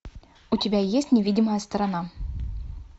у тебя есть невидимая сторона